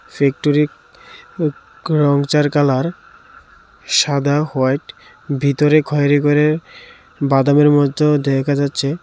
Factory র ওক colour সাদা হোয়াইট ভিতরে খয়েরি করে বাদামির মত দেখা যাচ্ছে।